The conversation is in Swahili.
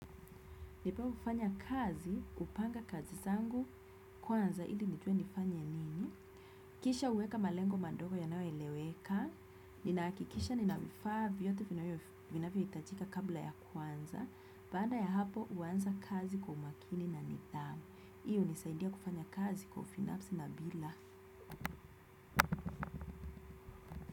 Nipofanya kazi, hupanga kazi zangu, kwanza ili nijue nifanye nini. Kisha huweka malengo madogo yanayoeleweka. Ninahakikisha nina vifaa vyote vinavyohitajika kabla ya kuanza. Baada ya hapo huwanza kazi kwa umakini na nidhamu. Hii hunisaidia kufanya kazi kwa ufanisi na bila.